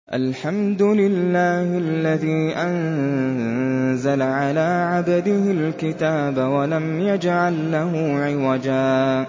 الْحَمْدُ لِلَّهِ الَّذِي أَنزَلَ عَلَىٰ عَبْدِهِ الْكِتَابَ وَلَمْ يَجْعَل لَّهُ عِوَجًا ۜ